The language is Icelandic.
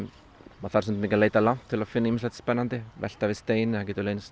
maður þarf stundum ekki að leita langt til að finna ýmislegt spennandi velta við steini þar getur leynst